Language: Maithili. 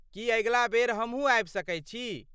की अगिला बेर हमहुँ आबि सकैत छी?